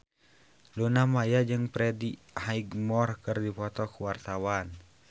Luna Maya jeung Freddie Highmore keur dipoto ku wartawan